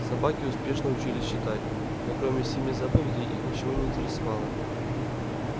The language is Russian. собаки успешно учились читать но кроме семи заповедей их ничего не интересовало